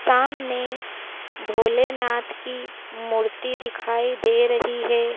सामने भोलेनाथ की मूर्ति दिखाई दे रही है।